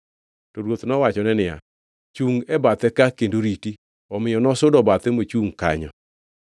To ruoth nowachone niya, “Chungʼ e bathe ka kendo iriti.” Omiyo nosudo bathe mochungʼ kanyo.